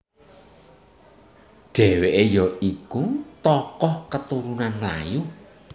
Dheweke ya iku tokoh keturunan Melayu